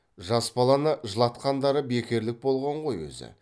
жас баланы жылатқандары бекерлік болған ғой өзі